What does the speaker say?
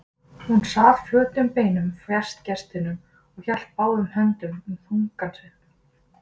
Hún sat flötum beinum fjærst gestinum og hélt báðum höndum um þunga sinn.